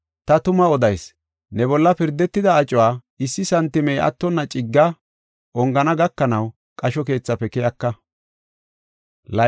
Ta tuma odayis; ne bolla pirdetida acuwa issi santimey attonna cigga ongana gakanaw qasho keethafe keyaka.